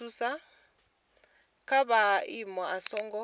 ha kha maimo a songo